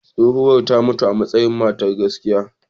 Tsohuwar ta mutu amasayi matar gaskiya.